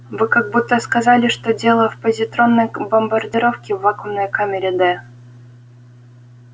вы как будто сказали что дело в позитронной бомбардировке в вакуумной камере д